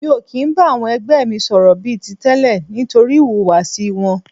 Mi ò kì ń bá àwọn ẹgbẹ́ mi sọ̀rọ̀ bí i ti tẹ́lẹ̀ nítorí ìhùwàsí wọn.